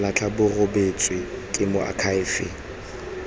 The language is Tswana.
latlha bo rebotswe ke moakhaefe